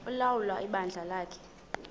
ulawula ibandla lakhe